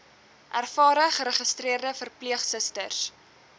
ervare geregistreerde verpleegsusters